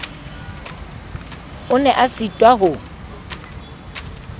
o ne a sitwa ho